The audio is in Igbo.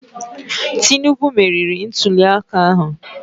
Tinubu merịrị ntulịaka ahụ